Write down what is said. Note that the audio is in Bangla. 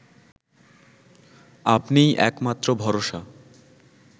আপনিই একমাত্র ভরসা